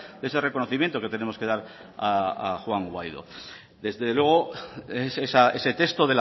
de ese reconocimiento que tenemos que dar a juan guaidó desde luego ese texto